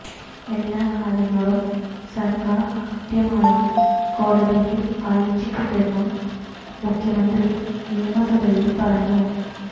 എല്ലാ കാര്യങ്ങളും സർക്കാർ കൃത്യമായി കോടതിയിൽ അറിയിച്ചിട്ടുണ്ടെന്നും മുഖ്യമന്ത്രി നിയമസഭയിൽ പറഞ്ഞു